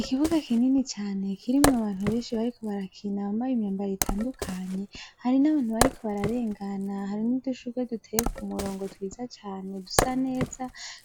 Ikibuga kinini cane kirimwo abantu benshi, bariko barakina bambaye imyambaro itandukanye ,harimwo n'abantu bariko bararengana hari n'udushurwe duteye k'umurongo twiza cane dusa neza,